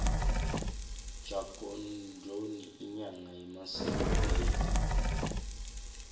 jagongoni inyanga yemasiko kuleli